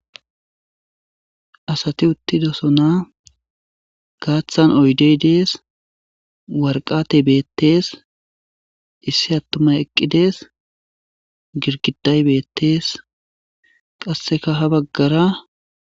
Asati uttidossona gaathan oydey de'es waraqatey beetees issi atumay eqqi de'es girgiday beetees qasekka ha bagara.